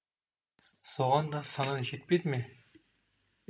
соған да санаң жетпеді ме